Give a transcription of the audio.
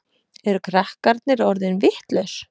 Eru krakkarnir orðin vitlaus?